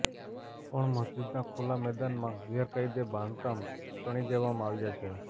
પણ મસ્જિદના ખુલ્લા મેદાનમાં ગેરકાયદે બાંધકામ ચણી દેવામાં આવ્યા છે